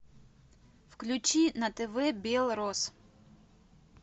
включи на тв белрос